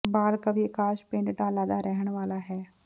ਬਾਲ ਕਵੀ ਆਕਾਸ਼ ਪਿੰਡ ਡਾਲਾ ਦਾ ਰਹਿਣ ਵਾਲਾ ਹੈ